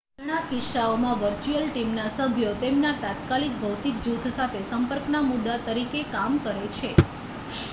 ઘણા કિસ્સાઓમાં વર્ચ્યુઅલ ટીમના સભ્યો તેમના તાત્કાલિક ભૌતિક જૂથ સાથે સંપર્કના મુદ્દા તરીકે કામ કરે છે